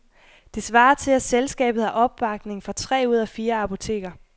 Det svarer til, at selskabet har opbakning fra tre ud af fire apoteker.